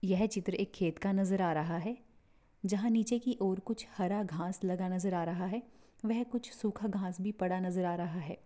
यह चित्र एक खेत का नजर आ रहा है। जहा नीचे की और कुछ हरा घास लगा नजर आ रहा है। वह कुछ सुखा घास भी पड़ा नजर आ रहा है।